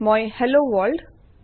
মই hello world